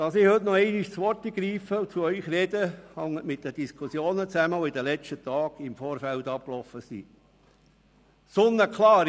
Dass ich heute noch einmal das Wort ergreife und zu Ihnen spreche, hängt mit den Diskussionen zusammen, die in den letzten Tagen im Vorfeld geführt wurden.